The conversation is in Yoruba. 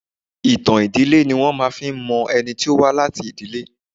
Ìtàn ìdílé ni wọ́n fi máa ń mọ ẹni tí ó wá láti ìdílé.